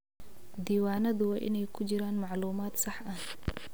Diiwaanadu waa inay ku jiraan macluumaad sax ah.